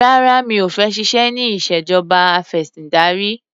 Rárá mi ò fẹ́ ṣiṣẹ́ ní ìṣèjọba afẹ̀sìndarí.